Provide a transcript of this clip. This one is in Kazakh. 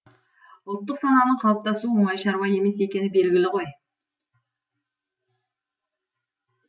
ұлттық сананың қалыптасуы оңай шаруа емес екені белгілі ғой